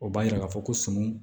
O b'a jira k'a fɔ ko sun